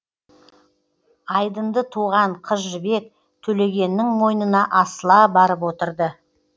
айдынды туған қыз жібек төлегеннің мойнына асыла барып отырды